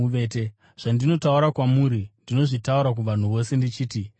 Zvandinotaura kwamuri, ndinozvitaura kuvanhu vose ndichiti, ‘Rindai!’ ”